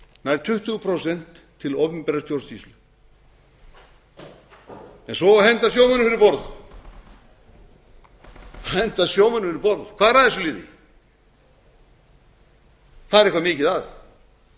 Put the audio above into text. nær tuttugu prósent til opinberrar stjórnsýslu svo á að henda sjómönnum fyrir borð henda sjómönnum fyrir borð hvað er að þessu liði það er eitthvað mikið að